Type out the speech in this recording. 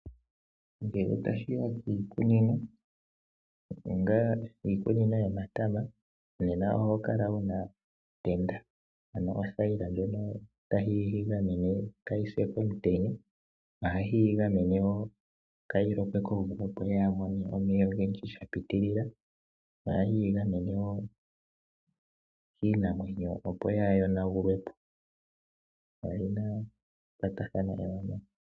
Ngele tashi ya kiikunino ngaashi iikunino yomatama oho kala wu na othayila ndjono tayi ga gamene kaaga pye komutenya, ohayi ga gamene wo kaaga lokwe komvula, opo kaaga mone omeya ogendji sha pitilila. Ohayi ga gamene wo kiinamwenyo, opo kaaga yonagulwe po.